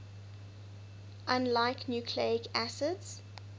unlike nucleic acids